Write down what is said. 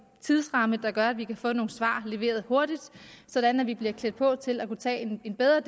tidsramme der gør at vi kan få nogle svar leveret hurtigt sådan at vi bliver klædt på til at kunne tage en bedre